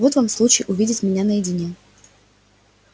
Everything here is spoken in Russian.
вот вам случай увидеть меня наедине